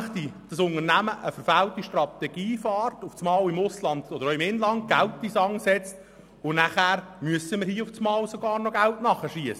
Wenn das Unternehmen eine verfehlte Strategie verfolgt und im Ausland oder im Inland Geld in den Sand setzt, müssen wir nämlich sogar plötzlich noch Geld nachschiessen.